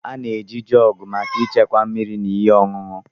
A na-eji Jọọgụ maka ịchekwa mmiri na ihe ọṅụṅụ.